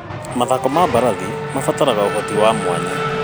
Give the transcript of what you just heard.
Mathako ma mbarathi marabatara ũhoti wa mwanya.